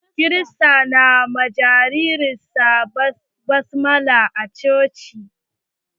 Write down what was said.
Kirista na wa jaririn sa baftisma a coci.